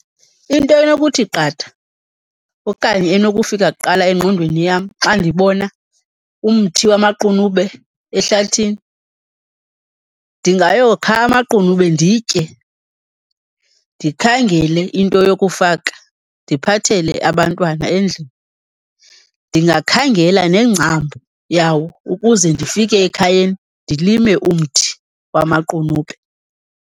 Into enokuthi qatha okanye enokufika kuqala egqondweni yam xa ndibona umthi wamaqunube ehlathini, ndingayokha amaqunube nditye, ndikhangele into yokufaka ndiphathele abantwana endlini. Ndingakhangela nengcambu yawo ukuze ndifike ekhayeni ndilime umthi wamaqunube.